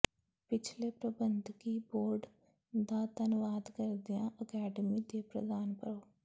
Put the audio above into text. ਪਿਛਲੇ ਪ੍ਰਬੰਧਕੀ ਬੋਰਡ ਦਾ ਧੰਨਵਾਦ ਕਰਦਿਆਂ ਅਕੈਡਮੀ ਦੇ ਪ੍ਰਧਾਨ ਪ੍ਰੋ